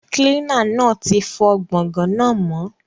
Kilina náa ti fọ gbọ̀ngàn náà mọ́